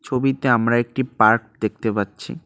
ছবিতে আমরা একটি পার্ক দেখতে পাচ্ছি।